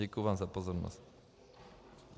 Děkuji vám za pozornost.